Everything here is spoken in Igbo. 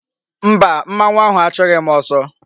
Mba, mmanwu ahu a chughi m oso